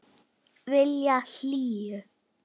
Vilja hlýju.